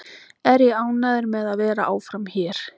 Er ég ánægður með að vera áfram hér?